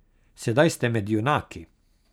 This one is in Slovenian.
Sedaj ste med junaki.